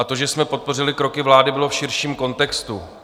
A to, že jsme podpořili kroky vlády, bylo v širším kontextu.